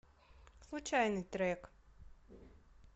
случайный трек